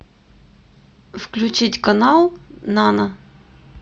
включить канал нано